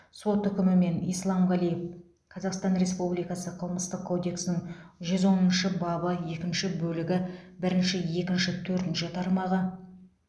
сот үкімімен исламғалиев қазақстан республикасы қылмыстық кодексінің жүз оныншы бабы екінші бөлігі бірінші екінші төртінші тармағы